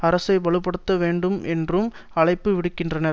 அரசை பல படுத்த வேண்டும் என்றும் அழைப்பு விடுக்கின்றார்